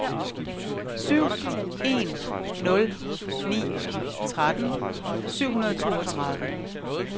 syv en nul ni tretten syv hundrede og toogtredive